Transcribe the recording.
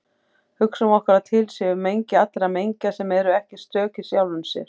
Hugsum okkur að til sé mengi allra mengja sem eru ekki stök í sjálfum sér.